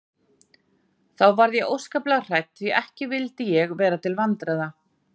Þá varð ég óskaplega hrædd því ekki vildi ég vera til vandræða.